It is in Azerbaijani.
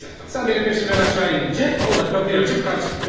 Sən mənim peşimdən aşağı enincə, o da kapıyı açıb qaçdı.